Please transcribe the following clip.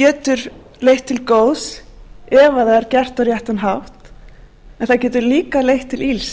getur leitt til góðs ef það er gert á réttan hátt en það getur líka leitt til ills